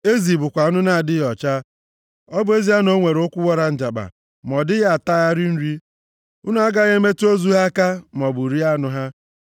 Ezi bụkwa anụ na-adịghị ọcha; ọ bụ ezie na o nwere ụkwụ wara njakpa, ma ọ dịghị atagharị nri. Unu agaghị emetụla ozu ha aka maọbụ rie anụ ha.